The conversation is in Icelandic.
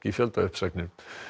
fjöldauppsagnir